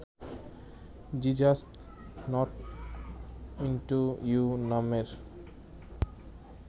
G just not into you নামের